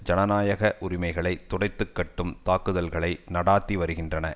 ஜனநாயக உரிமைகளை துடைத்துக்கட்டும் தாக்குதல்களை நடாத்தி வருகின்றன